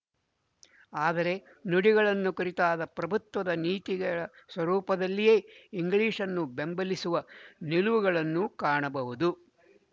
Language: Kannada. ಆದರೆ ನುಡಿಗಳನ್ನು ಕುರಿತಾದ ಪ್ರಭುತ್ವದ ನೀತಿಗಳ ಸ್ವರೂಪದಲ್ಲಿಯೇ ಇಂಗ್ಲಿಶ್‌ನ್ನು ಬೆಂಬಲಿಸುವ ನಿಲುವುಗಳನ್ನು ಕಾಣಬಹುದು